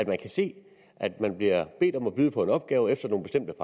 man kan se at man bliver bedt om at byde på en opgave efter nogle bestemte